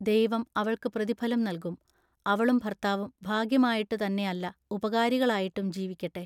ദൈവം അവൾക്ക് പ്രതിഫലം നല്കും. അവളും ഭർത്താവും ഭാഗ്യമായിട്ടുതന്നെയല്ല ഉപകാരികളായിട്ടും ജീവിക്കട്ടെ.